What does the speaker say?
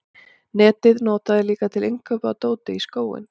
netið nota þeir líka til innkaupa á dóti í skóinn